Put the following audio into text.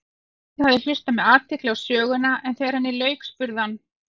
Emil hafði hlustað með athygli á söguna en þegar henni lauk spurði hann